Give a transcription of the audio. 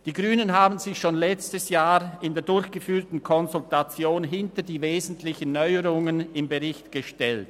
Die Grünen haben sich schon letztes Jahr während der durchgeführten Konsultation hinter die wesentlichen Neuerungen im Bericht gestellt.